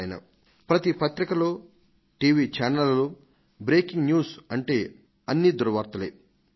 ప్రతి వార్తాపత్రికలోను TV channel లోను బ్రేకింగ్ న్యూస్ అంటే అన్నీ దుర్వార్తలే ఉంటున్నాయి